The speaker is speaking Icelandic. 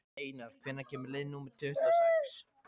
Steinar, hvenær kemur leið númer tuttugu og sex?